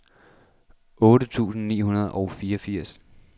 otte tusind ni hundrede og fireogfirs